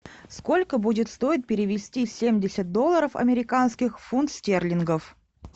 сколько будет стоить перевести семьдесят долларов американских в фунт стерлингов